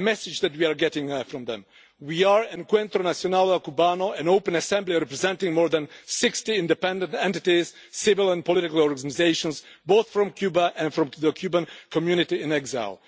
message that we are getting from them We are Encuentro Nacional Cubano, an open assembly representing more than 60 independent entities, civil and political organisations, both from Cuba and from the Cuban community in exile.